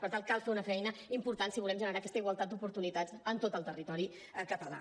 per tant cal fer una feina important si volem generar aquesta igualtat d’oportunitats en tot el territori català